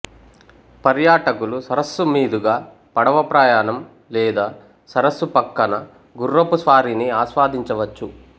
పర్యాటకులు సరస్సు మీదుగా పడవ ప్రయాణం లేదా సరస్సు పక్కన గుర్రపు స్వారీని ఆస్వాదించవచ్చు